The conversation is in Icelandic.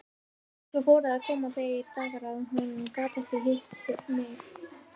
Svo fóru að koma þeir dagar að hún gat ekki hitt mig.